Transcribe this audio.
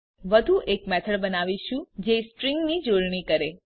આપણે વધુ એક મેથડ બનાવીશું જે સ્ટ્રીંગની જોડણી કરે